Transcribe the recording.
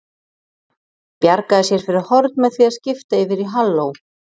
Bjargaði sér fyrir horn með því að skipta yfir í halló.